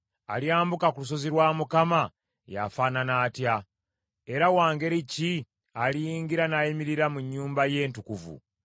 Alyambuka ku lusozi lwa Mukama ye afaanana atya? Era wa ngeri ki aliyingira n’ayimirira mu nnyumba ye entukuvu?